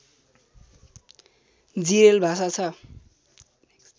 जिरेल भाषा छ